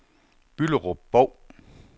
Bylderup-Bov